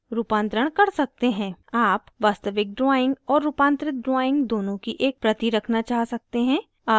आप वास्तविक drawing और रूपांतरित drawing दोनों की एक प्रति रखना चाह सकते हैं